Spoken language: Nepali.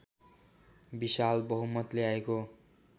विशाल बहुमत ल्याएको